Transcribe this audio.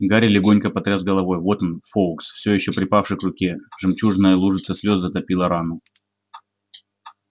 гарри легонько потряс головой вот он фоукс всё ещё припавший к руке жемчужная лужица слёз затопила рану